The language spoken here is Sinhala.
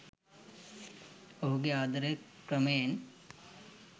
ඔහුගේ ආදරය ක්‍රමයෙන්